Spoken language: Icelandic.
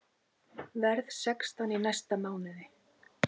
Verð sextán í næsta mánuði.